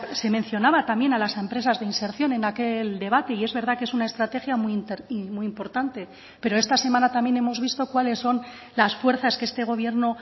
se mencionaba también a las empresas de inserción en aquel debate y es verdad que es una estrategia muy importante pero esta semana también hemos visto cuáles son las fuerzas que este gobierno